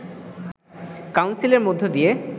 কাউন্সিলের মধ্য দিয়ে